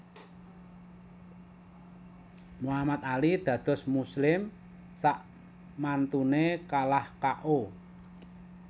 Muhammad Ali dados muslim sakmantune kalah K O